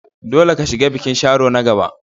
Dole ka shiga bikin Sharo na gaba!